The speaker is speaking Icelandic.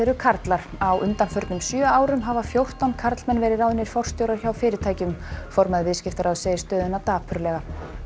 karlar á undanförnum sjö árum hafa fjórtán karlmenn verið ráðnir forstjórar hjá fyrirtækjunum formaður Viðskiptaráðs segir stöðuna dapurlega